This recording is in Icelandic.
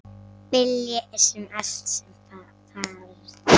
Vilji er allt sem þarf!